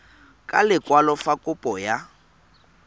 ka lekwalo fa kopo ya